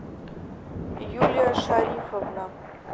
юлия шарифовна